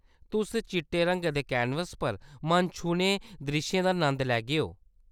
तुस चिट्टे रंगै दे कैनवस पर मन छूह्‌ने द्रिश्शें दा नंद लैगेओ।